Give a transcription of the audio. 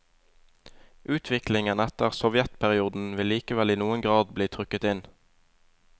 Utviklingen etter sovjetperioden vil likevel i noen grad bli trukket inn.